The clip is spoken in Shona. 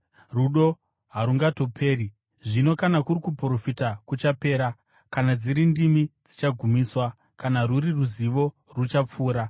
Rudo harutongoperi. Zvino kana kuri kuprofita, kuchapera; kana dziri ndimi, dzichagumiswa; kana rwuri ruzivo, ruchapfuura.